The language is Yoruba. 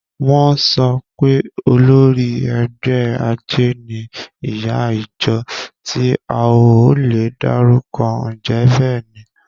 Wọ́n sọ pé olórí ẹgbẹ́ àjẹ́ ni ìyá ìjọ tí a ò lè dárúkọ. Ǹjẹ́ bẹ́ẹ̀ ni?